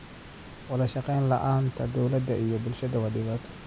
Wadashaqeyn la'aanta dowladda iyo bulshada waa dhibaato.